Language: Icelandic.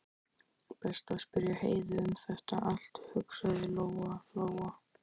Best að spyrja Heiðu um þetta allt, hugsaði Lóa Lóa.